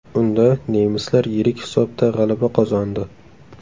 Unda nemislar yirik hisobda g‘alaba qozondi .